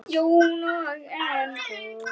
Jóna og Enok.